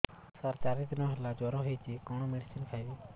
ସାର ଚାରି ଦିନ ହେଲା ଜ୍ଵର ହେଇଚି କଣ ମେଡିସିନ ଖାଇବି